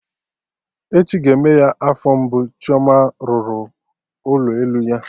Echi ga-eme ya afọ mbụ Chioma rụrụ ụlọ elu ya